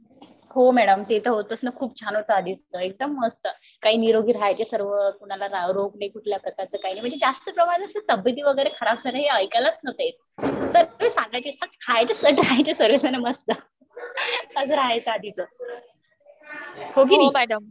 हो मॅडम ते तर होतंच ना मॅडम खूप छान होत सगळं एकदम मस्त काय निरोगी राहायचे सर्व कुणाला कोणता राव रोग नाही कुणाला म्हणजे जास्त करून तब्येती वगैरे खराब झाले हे ऐकायलाच नव्हतं येत . सगळे जण सट खायचे सट राहायचे सर्वेजण मस्त ING असं राहायचं आधीच. हो की नाही?